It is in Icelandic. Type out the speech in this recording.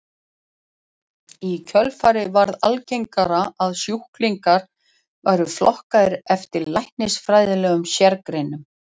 Í kjölfarið varð algengara að sjúklingar væru flokkaðir eftir læknisfræðilegum sérgreinum.